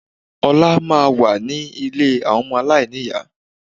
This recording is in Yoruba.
Ọlá máa wà ní ilé ọmọ aláìníyá